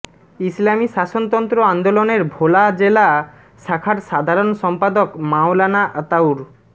ইসলামী শাসনতন্ত্র আন্দোলনের ভোলা জেলা শাখার সাধারণ সম্পাদক মাওলানা আতাউর